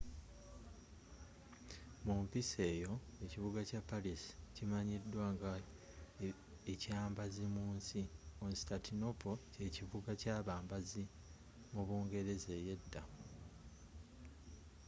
mumpisa eyo ekibuga kya paris kimanyidwa nga ekyabambazi munsi constantinople kyekibuga kyabambazi mu bungereza eyedda